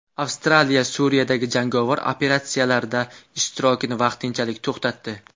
Avstraliya Suriyadagi jangovar operatsiyalarda ishtirokini vaqtinchalik to‘xtatdi.